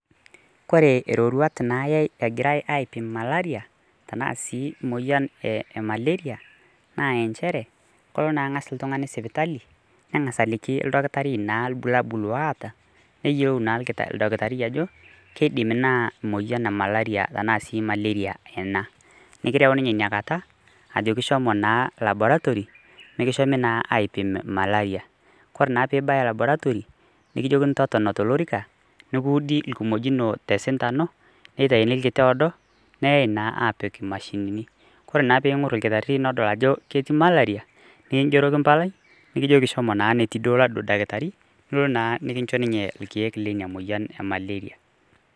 Kore iroruat nayai egirai aipim malaria, tenaa si moyian emaleria, naa injere, kolo na ng'as iltung'ani sipitali, neng'asa aliki naa ildakitari naa irbulabul loota, neyieu naa oldakitari ajo, kidim naa moyian e malaria tanaa si maleria ena. Nikireu ninye inakata, ajoki shomo naa laboratory, mikishomi naa aipim malaria. Kore naa pibaya laboratory, nikijokini totona tolorika, nikuudi irkimojino tesindano, nitauni kirti oodo, neyai naa apik mashinini. Kore naa peng'or olkitarri nodol ajo ketii malaria, nikigeroki mpalai, nikijoki shomo naa netii duo laduo dakitari, nolo naa mikinchoo ninye irkeek lina moyian emaleria.